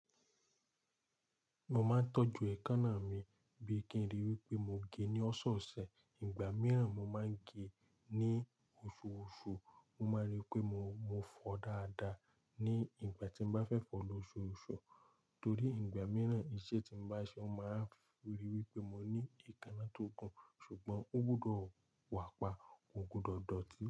Mo máa ń tọ́jú ẹ̀kánná mi bí i kí n rí wí pé mo gẹ́ ní ọ̀sẹ̀ ọ̀sẹ̀, ìgbà mìíràn mo máa ń gẹ́ ní oṣù oṣù. Mo máa rí i pé mo fọ dáadáa ní ìgbà tí mo bá fẹ́ fọ lọ oṣù oṣù torí ìgbà mìíràn iṣẹ́ tí mo bá ṣe, mo máa rí i wí pé mo ní ẹ̀kánná tó gùn. Ṣùgbọ́n ó gbọdọ̀ wà pa kogbudo dótí.